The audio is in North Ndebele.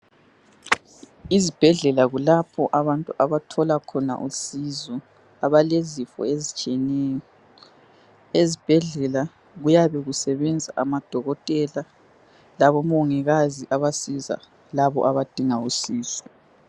Izibhedlela kulapho abantu abathola khona usizo abalezifo ezitshiyeneyo, ezibhedlela kuyabe kusebenza amadokotela labo mongikazi abasiza labo abadinga usizo.